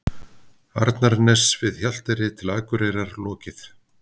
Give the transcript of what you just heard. Arnarness við Hjalteyri til Akureyrar lokið.